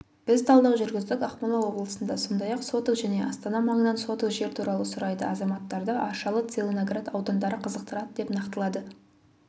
біз талдау жүргіздік ақмола облысында сондай-ақ соток және астана маңынан соток жер туралы сұрайды азаматтарды аршалы целиноград аудандары қызықтырады деп нақтылады